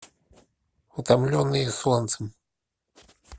утомленные солнцем